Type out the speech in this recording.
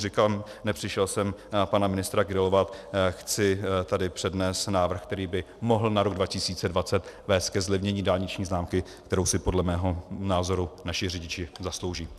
Říkám, nepřišel jsem pana ministra grilovat, chci tady přednést návrh, který by mohl na rok 2020 vést ke zlevnění dálniční známky, které si podle mého názoru naši řidiči zaslouží.